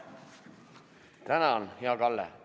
Tänan, hea Kalle!